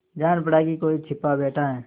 जान पड़ा कि कोई छिपा बैठा है